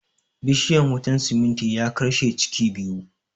Bishiyan wutan simintin ya karshe ciki biyu